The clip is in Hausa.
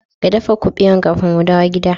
Ka daffa kubewan kafin mu dawo gidda.